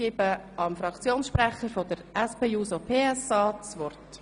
Ich gebe dem Fraktionssprecher der SP-JUSO-PSA das Wort.